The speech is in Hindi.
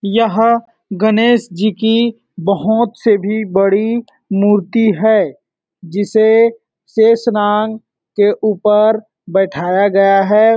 यह गणेश जी की बहुत से भी बड़ी मूर्ति है जिसे शेषनांग के ऊपर बैठाया गया है।